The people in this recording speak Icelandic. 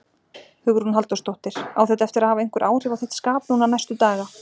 Hugrún Halldórsdóttir: Á þetta eftir að hafa einhver áhrif á þitt skap núna næstu daga?